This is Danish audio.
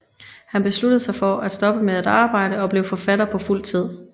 Han besluttede sig for at stoppe med at arbejde og blive forfatter på fuld tid